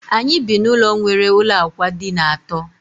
Anyị bi na ụlọ nwere ụlọ ákwà dina àtó